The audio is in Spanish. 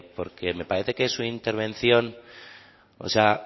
porque me parece que su intervención